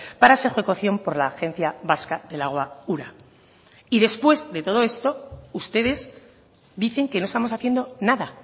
para su ejecución por la agencia vasca del agua ura y después de todo esto ustedes dicen que no estamos haciendo nada